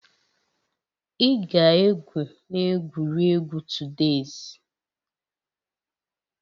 Ị ga-egwu na egwuregwu todays!